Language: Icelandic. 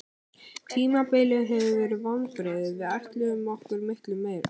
Tímabilið hefur verið vonbrigði, við ætluðum okkur miklu meira.